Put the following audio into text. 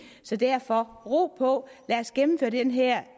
så derfor ro på lad os gennemføre den her